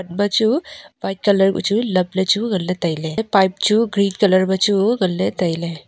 bachu white colour kuh chu lap lechu nganley tailey lah e pipe chu green colour ma chu nganley tailey.